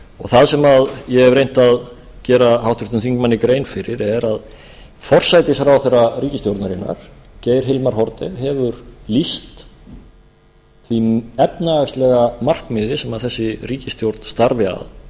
það sem ég hef reynt að gera háttvirtum þingmanni grein fyrir er að forsætisráðherra ríkisstjórnarinnar geir hilmar haarde hefur lýst því efnahagslega markmiði sem þessi ríkisstjórn starfi að